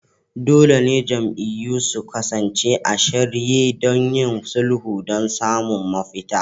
Dole ne jam'iyyun su kasance a shirye don yin sulhu don samun mafita.